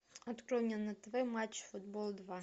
открой мне на тв матч футбол два